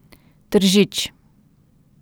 Tržič.